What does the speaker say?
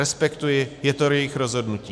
Respektuji, je to jejich rozhodnutí.